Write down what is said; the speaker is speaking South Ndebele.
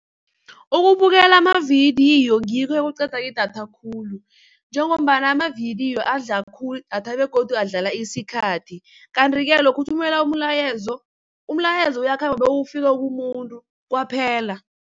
Ukubukela amavidiyo ngikho okuqeda idatha khulu, njengombana amavidiyo adla khulu idatha begodu adlala isikhathi. Kanti-ke lokha uthumela umlayezo, umlayezo uyakhamba bewufike kumuntu kwaphela.